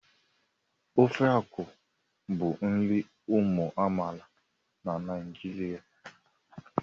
Ofe akwụ bụ nri ụmụ amaala na Naijiria.